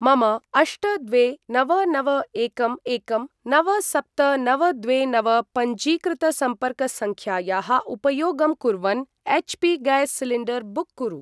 मम अष्ट द्वे नव नव एकं एकं नव सप्त नव द्वे नव पञ्जीकृतसम्पर्कसङ्ख्यायाः उपयोगं कुर्वन् एच्.पी.गैस् सिलिण्डर् बुक् कुरु।